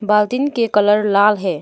बाल्टीन के कलर लाल है।